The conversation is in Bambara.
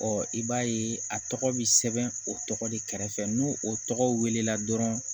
i b'a ye a tɔgɔ bi sɛbɛn o tɔgɔ de kɛrɛfɛ n'o o tɔgɔ wele la dɔrɔn